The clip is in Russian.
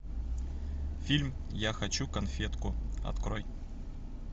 фильм я хочу конфетку открой